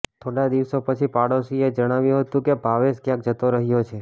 થોડાં દિવસો પછી પડોશીઓએ જણાવ્યું હતું કે ભાવેશ ક્યાંક જતો રહ્યો છે